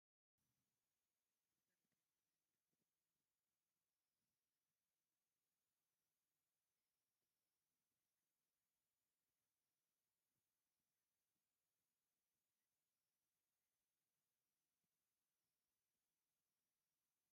ኣብቲ ጠረጴዛ ናይ ወረቐት ሰነዳትን ጥርሙዝ ማይ ዝሓዘ ጥርሙዝ ማይን ኣሎ፡ እዚ ድማ ዘተ ከም ዝካየድ ዘመልክት እዩ። ኣብ ድሕሪት ድማ ብዙሓት ተዓዘብቲ ኣብቲ ክፍሊ ኮፍ ኢሎም ኣለዉ። ኣኼባ ብዛዕባ እንታይ ዓይነት ጉዳይ ክኸውን ይኽእል?